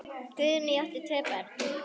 Guðný á tvö börn.